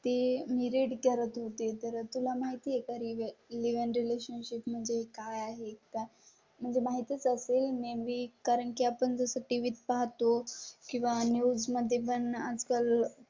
तर ती मी रेड करत होते तर तुला माहिती आहे. करी लिव्ह इन रिलेशनशिप म्हणजे काय आहे का? म्हणजे माहितीच असेलं मी कारण की आपण जो साठी विथ पाहतो किंवा न्यूज मध्ये पण आजकाल